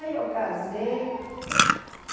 Aí eu casei.